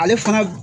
Ale fana